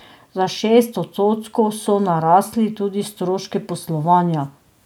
Za šest odstotkov so narasli tudi stroški poslovanja.